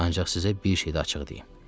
Ancaq sizə bir şey də açığı deyim.